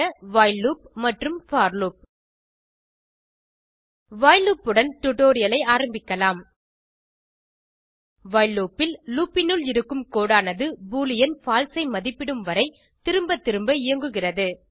while loop மற்றும் for loop while loop உடன் டுடோரியலை ஆரம்பிக்கலாம் வைல் லூப் ல் லூப் னுள் இருக்கும் கோடு ஆனது பூலியன் பால்சே ஐ மதிப்பிடும் வரை திரும்ப திரும்ப இயங்குகிறது